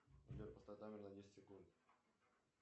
джой поставь таймер на десять секунд